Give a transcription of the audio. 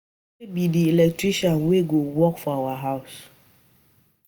Ike be the electrician wey go work for our house